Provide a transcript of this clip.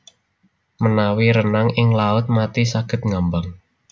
Menawi renang ing Laut Mati saged ngambang